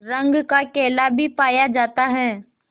रंग का केला भी पाया जाता है